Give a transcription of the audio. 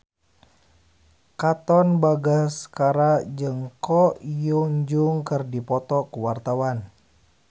Katon Bagaskara jeung Ko Hyun Jung keur dipoto ku wartawan